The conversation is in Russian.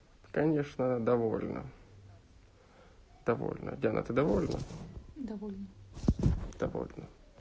конечно довольно довольно диана ты довольна довольна довольна